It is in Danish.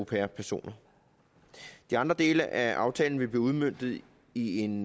pair personer de andre dele af aftalen vil blive udmøntet i i en